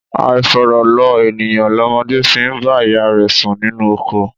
Àifọ̀rọ̀ lọ ènìyàn lọmọdé fi í bá ìyá rẹ̀ sùn ninú oko.